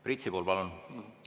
Priit Sibul, palun!